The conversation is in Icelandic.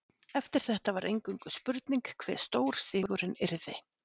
Eftir þetta var eingöngu spurning hve stór sigurinn yrði.